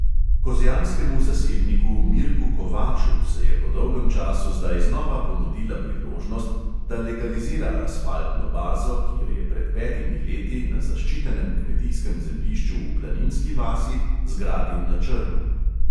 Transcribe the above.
Kozjanskemu zasebniku mirku kovaču se je po dolgem času zdaj znova ponudila priložnost, da legalizira asfaltno bazo, ki jo je pred petimi leti na zaščitenem kmetijskem zemljišču v planinski vasi zgradil na črno.